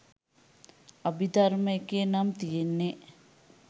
අභිධර්ම එකේ නම් තියෙන්නෙ